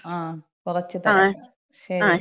ങ്ങാ കുറച്ച് തിരക്കാ. ശരി.